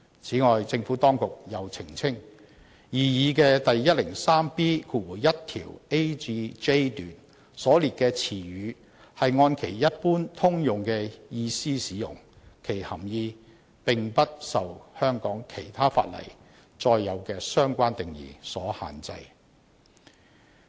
此外，政府當局又澄清，擬議的第 103B1 條 a 至 j 段所列的詞語是按其一般通用的意思使用，其含義並不受香港其他法例載有的相關定義所限制。